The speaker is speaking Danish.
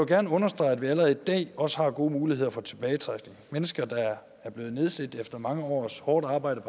gerne understrege at vi allerede i dag også har gode muligheder for tilbagetrækning mennesker der er blevet nedslidt efter mange års hårdt arbejde